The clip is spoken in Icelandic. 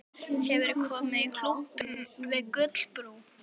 Hefurðu komið í Klúbbinn við Gullinbrú?